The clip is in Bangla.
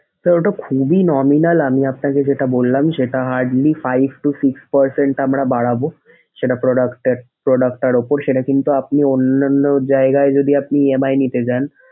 sir ওটা খুবই nominal আমি আপনাকে যেটা বললাম সেটা আমরা idially five to six percent আমরা বাড়াবো। সেটা product টা product টার উপর। সেটা কিন্তু আপনি অন্যান্য যায়গায় যদি আপনি EMI নিতে যান ।